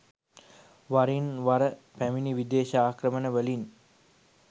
වරින් වර පැමිණි විදේශ ආක්‍රමණවලින්